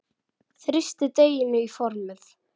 Þrýstið deiginu í formið.